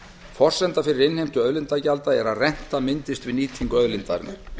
forsenda fyrir innheimtu auðlindagjalda er að renta myndist við nýtingu auðlindarinnar